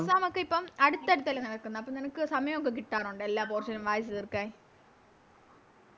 Exam ഒക്കെ ഇപ്പോം അടുത്തടുത്തല്ലേ നടക്കുന്ന അപ്പൊ നിനക്ക് സമായൊക്കെ കിട്ടാറുണ്ടോ എല്ലാ ദിവസോം വായിച്ച് തീർക്കാൻ